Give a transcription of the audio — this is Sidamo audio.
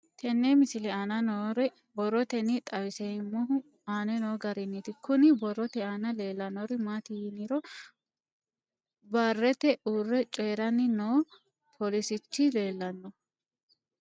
Tenne misile aana noore borroteni xawiseemohu aane noo gariniiti. Kunni borrote aana leelanori maati yiniro barete uure coyiranni noo polisichi leelanoe.